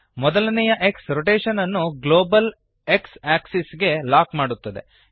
ಮೊದಲನೆಯ X rotation ಅನ್ನು global X axis ಗೆ ಲಾಕ್ ಮಾಡುತ್ತದೆ